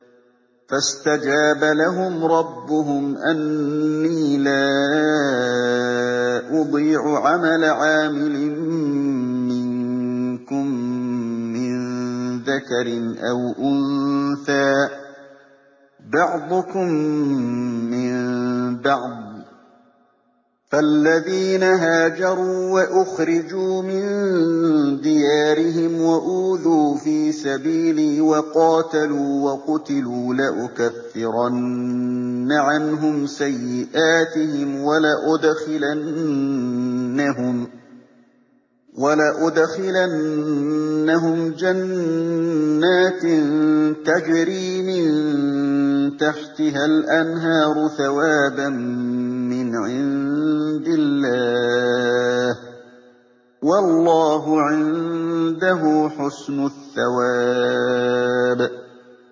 فَاسْتَجَابَ لَهُمْ رَبُّهُمْ أَنِّي لَا أُضِيعُ عَمَلَ عَامِلٍ مِّنكُم مِّن ذَكَرٍ أَوْ أُنثَىٰ ۖ بَعْضُكُم مِّن بَعْضٍ ۖ فَالَّذِينَ هَاجَرُوا وَأُخْرِجُوا مِن دِيَارِهِمْ وَأُوذُوا فِي سَبِيلِي وَقَاتَلُوا وَقُتِلُوا لَأُكَفِّرَنَّ عَنْهُمْ سَيِّئَاتِهِمْ وَلَأُدْخِلَنَّهُمْ جَنَّاتٍ تَجْرِي مِن تَحْتِهَا الْأَنْهَارُ ثَوَابًا مِّنْ عِندِ اللَّهِ ۗ وَاللَّهُ عِندَهُ حُسْنُ الثَّوَابِ